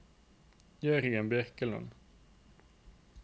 Jørgen Birkeland